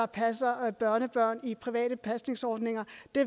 passer børnebørn i private pasningsordninger